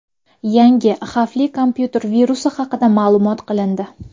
Yangi xavfli kompyuter virusi haqida ma’lum qilindi.